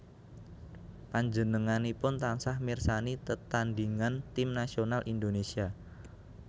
Panjenenganipun tansah mirsani tetandhingan tim nasional Indonésia